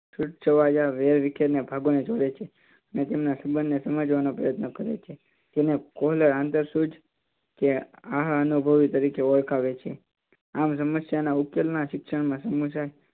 વેરવિખેર ને અને તેમના સંબંધ ને સમજવાનો પ્રયત્ન કરે છે તેને આંતર સૂજ કે આહ અનુભવી તરીકે ઓળખાવે છે. આમ સમસ્યા ના ઉકેલ ના શિક્ષણ માં સમસ્યા